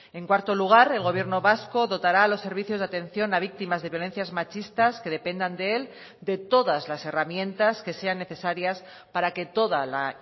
en cuarto lugar el gobierno vasco dotará a los servicios de atención a víctimas de violencias machistas que dependan de él de todas las herramientas que sean necesarias para que toda la